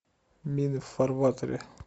мины в фарватере